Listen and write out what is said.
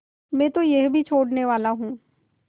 मैं तो यह भी छोड़नेवाला हूँ